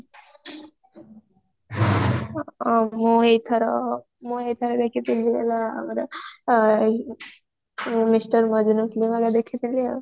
ମୁଁ ଏଇ ଥର ମୁଁ ଏଇ ଥର ଦେଖିଥିଲି ହେଲା ଏଇ ଆମର mister ମଜନୂ ଦେଖିହଥିଲି ଆଉ